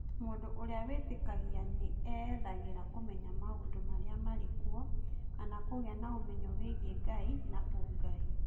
Mũndũ ũrĩa wĩtĩkagia nĩ eethagĩra kũmenya maũndũ marĩa marĩ kuo, kana kũgĩa na ũmenyo wĩgiĩ Ngai na ũngai.